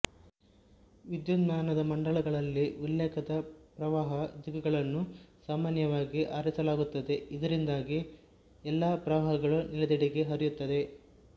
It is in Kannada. ವಿದ್ಯುನ್ಮಾನದ ಮಂಡಲಗಳಲ್ಲಿ ಉಲ್ಲೇಖದ ಪ್ರವಾಹ ದಿಕ್ಕುಗಳನ್ನು ಸಾಮಾನ್ಯವಾಗಿ ಆರಿಸಲಾಗುತ್ತದೆ ಇದರಿಂದಾಗಿ ಎಲ್ಲಾ ಪ್ರವಾಹಗಳು ನೆಲೆದೆಡೆಗೆ ಹರಿಯುತ್ತವೆ